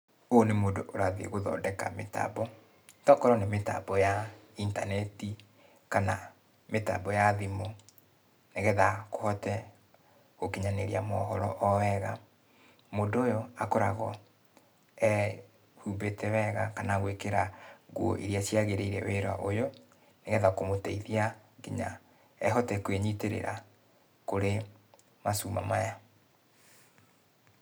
Ũyũ nĩ mũndũ ũrathiĩ gũthondeka mĩtambo. Togũkorũo nĩ mĩtambo ya intaneti, kana mĩtambo ya thimũ, nĩgetha, kũhote gũkinyanĩria mohoro o wega. Mũndũ ũyũ akoragwo, ehumbĩte wega kana gũĩkĩra nguo iria ciagĩrĩire wĩra ũyũ, nĩgetha kũmũteithia, kinya, ehote kwĩnyitĩrĩra, kũrĩ macuma maya.